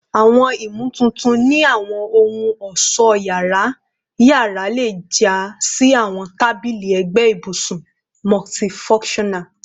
Awọn imotuntun ni awọn ohun-ọṣọ yara yara le ja si awọn tabili ẹgbẹ ibusun multifunctional